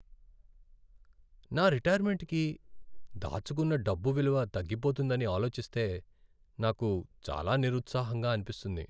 నా రిటైర్మెంట్కి దాచుకున్న డబ్బు విలువ తగ్గిపోతుందని ఆలోచిస్తే నాకు చాలా నిరుత్సాహంగా అనిపిస్తుంది.